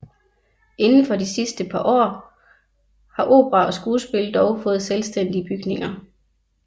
Inden for de sidste år har opera og skuespil dog fået selvstændige bygninger